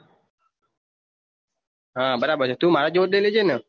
હા બરાબર છે તું મારા જેવોજ લઇ લેજે ને